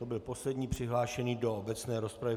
To byl poslední přihlášený do obecné rozpravy.